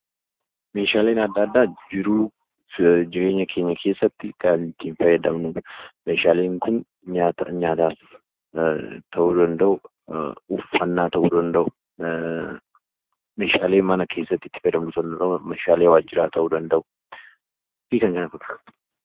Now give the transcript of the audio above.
Meeshaaleen adda addaa jiruuf jireenya keenya keessatti kan nuti itti fayyadamnuudha. meeshaaleen Kun nyaataaf ta'uu danda'u, uffannaa ta'uu danda'u, meeshaalee mana keessatti itti fayyadamnu meeshaalee waajjiraa ta'uu danda'u.